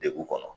Degun kɔnɔ